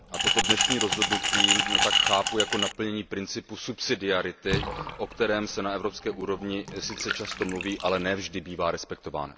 Toto dnešní rozhodnutí tak chápu jako naplnění principu subsidiarity, o kterém se na evropské úrovni sice často mluví, ale ne vždy bývá respektován.